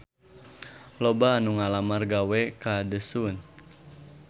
Loba anu ngalamar gawe ka The Sun